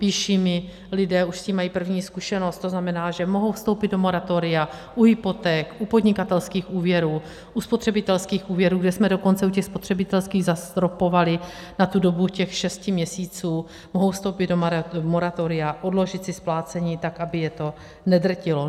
Píší mi lidé, už s tím mají první zkušenost, to znamená, že mohou vstoupit do moratoria, u hypoték, u podnikatelských úvěrů, u spotřebitelských úvěrů, kde jsme dokonce u těch spotřebitelských zastropovali na tu dobu těch šesti měsíců - mohou vstoupit do moratoria, odložit si splácení tak, aby je to nedrtilo.